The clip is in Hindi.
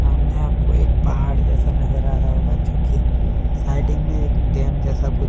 हमने आपको एक पहाड़ जैसा नजर आ रहा होगा जो की साइडिंग में एक डैम जैसा कुछ--